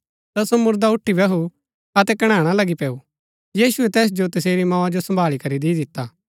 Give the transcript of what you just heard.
ता सो मुरदा उठी बैहु अतै कणैणा लगी पैऊ यीशुऐ तैस जो तसेरी मोआ जो संभाळी करी दी दिता